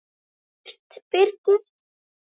Fyrst Birgir